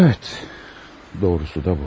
Doğrusu da bu.